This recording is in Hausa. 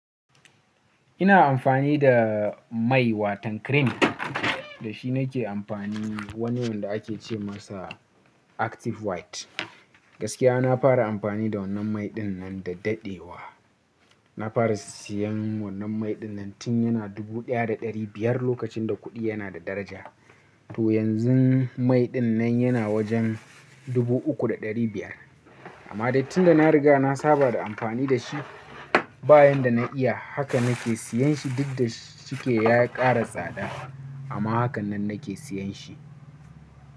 Ina amfani da mai watan cream da shi na ke amfani wani wanda ake ce masa Active White. Gaskiya na fara amfani da wannan mai ɗin nan da daɗewa. Na fara siyan wannan mai ɗin nan tun yana dubu ɗaya da ɗari biyar lokacin da kuɗi yana da daraja. To yanzu mai ɗin nan yana wajen dubu uku da ɗari biyar amma dai tun da na riga na saba da amfani da shi bayan da na iya haka na ke siyan shi duk da shike ya ƙara tsada amma hakan nan na ke siyan shi.